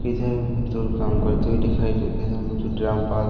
इधर में तो काम करते हुए दिखाई देते हैं हम उसे ड्रम पर--